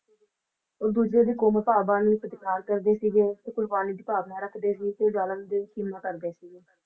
ਉਹ ਦੂਜੇ ਦੀ ਕੌਮੀ ਭਾਵਨਾ ਦਾ ਸਤਿਕਾਰ ਕਰਦੇ ਸੀਗੇ ਤੇ ਕੁਰਬਾਨੀ ਦੀ ਭਾਵਨਾ ਰੱਖਦੇ ਸੀ ਤੇ ਜਾਲਮ ਦਿਨ ਕੀਮਾ ਕਰਦੇ ਸੀ